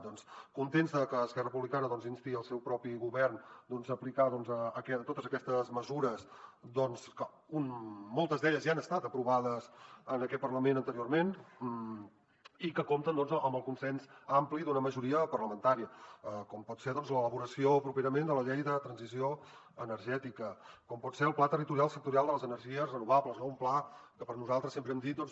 doncs contents de que esquerra republicana insti el seu propi govern a aplicar totes aquestes mesures que moltes d’elles ja han estat aprovades en aquest parlament anteriorment i que compten amb el consens ampli d’una majoria parlamentària com pot ser l’elaboració properament de la llei de transició energètica com pot ser el pla territorial sectorial de les energies renovables no un pla que nosaltres sempre hem dit doncs